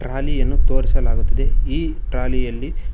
trolley ಯನ್ನು ತೋರಿಸಲಾಗುತ್ತಿದೆ ಈ ಟ್ರಾಲಿ ಯಲ್ಲಿ--